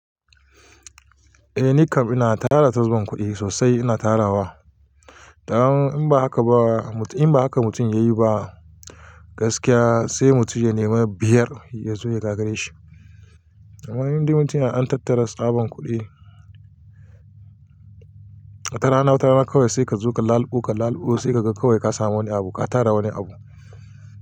Eh nikam ina tara tsaban kuɗi sosai ina tarawa, dan in ba haka ba in ba haka mutum ya yi ba gaskiya sai mutum ya nema biyar ya zo ya gagare shi. Amma inde mutum yana ɗan tattara tsaban kuɗi, wata rana wata rana kawai sai ka zo ka laluɓo ka laluɓo sai ka ga kawai ka sami wani abu ka tara wani abu.